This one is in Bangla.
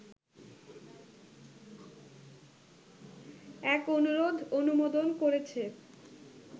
এক অনুরোধ অনুমোদন করেছে